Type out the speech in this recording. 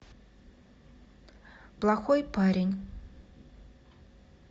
плохой парень